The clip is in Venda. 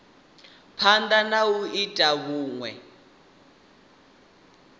phanda na u ita vhunwe